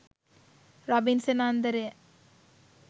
robinsan andaraya